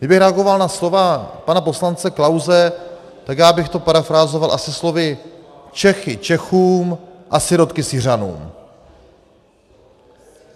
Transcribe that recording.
Kdybych reagoval na slova pana poslance Klause, tak já bych to parafrázoval asi slovy Čechy Čechům a sirotky Syřanům.